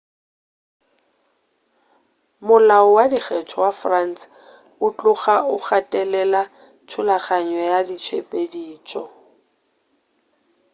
molao wa dikgetho wa france o tloga o gatelela thulaganyo ya ditshepedišo